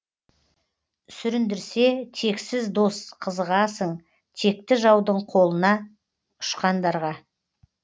сүріндірсе тексіз дос қызығасың текті жаудың қолына ұшқандарға